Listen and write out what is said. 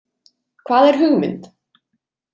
Hvað er hugmynd?